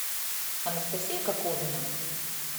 анастасия коковина